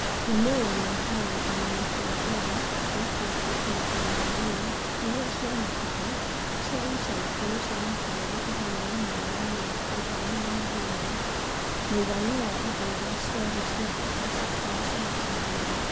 Maumĩrĩra ma kũgerekania kwa mbere gwekĩtwo kũringana na LAYS iria cionekaga cia ica ikuhĩ cia mabũrũri igana rĩmwe rĩa mĩrongo ĩtano na mũgwanja (mũigana wa indo iria ciarĩ cia bata citacenjagia)